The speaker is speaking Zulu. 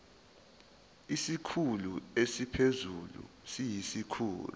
isikhulu esiphezulu siyisikhulu